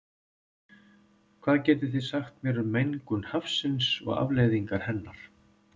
Hvað getið þið sagt mér um mengun hafsins og afleiðingar hennar?